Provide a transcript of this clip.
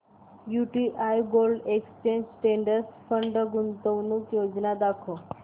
UTI gold exchange traded fund गुंतवणूक योजना दाखव